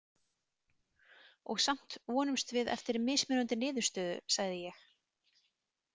Og samt vonumst við eftir mismunandi niðurstöðu, sagði ég.